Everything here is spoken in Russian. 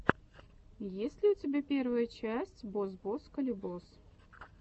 есть ли у тебя первая часть бос бос калибос